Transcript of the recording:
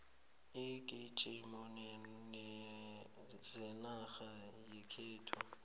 iingijimi zenarha yekhethu